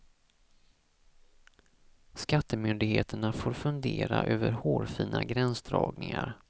Skattemyndigheterna får fundera över hårfina gränsdragningar.